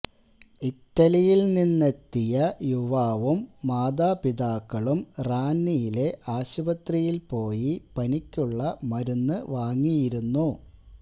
ഇറ്റലിയിൽ നിന്നെത്തിയ യുവാവും മാതാപിതാക്കളും റാന്നിയിലെ ആശുപത്രിയിൽ പോയി പനിക്കുള്ള മരുന്ന് വാങ്ങിയിരുന്നു